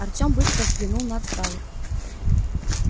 артём быстро взглянул на отсталых